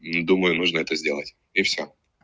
ну думаю можно это сделать и всё